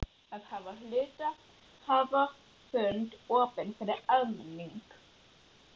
að hafa hluthafafund opinn fyrir almenning.